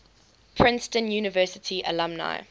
princeton university alumni